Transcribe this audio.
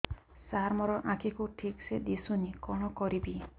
ସାର ମୋର ଆଖି କୁ ଠିକସେ ଦିଶୁନି କଣ କରିବି